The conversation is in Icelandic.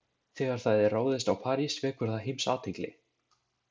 Þegar það er ráðist á París vekur það heimsathygli.